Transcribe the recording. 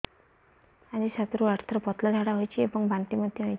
ଆଜି ସାତରୁ ଆଠ ଥର ପତଳା ଝାଡ଼ା ହୋଇଛି ଏବଂ ବାନ୍ତି ମଧ୍ୟ ହେଇଛି